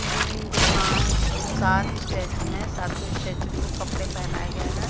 तीन दो पांच दो सात स्टैचू है सातों स्टैचू को कपड़े पहनाए गए हैं।